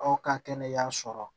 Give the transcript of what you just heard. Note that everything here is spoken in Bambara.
Aw ka kɛnɛ y'an sɔrɔ